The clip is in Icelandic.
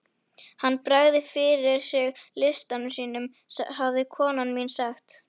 Hann bregður fyrir sig listum sínum hafði kona mín sagt.